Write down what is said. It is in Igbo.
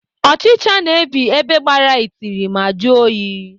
Ọchịcha na-ebi ebe gbara itiri ma jụọ oyi.